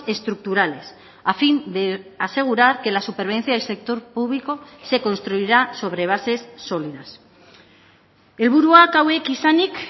estructurales a fin de asegurar que la supervivencia del sector público se construirá sobre bases sólidas helburuak hauek izanik